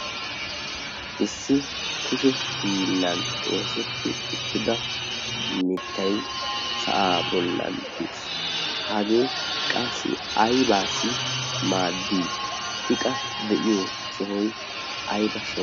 Issi kushe hiillan oosetti uttida mittayi sa"aa bollan de"es. Hagee qassi aybaassi maaddii? I qa de"iyo sohoyi ayba sohoo?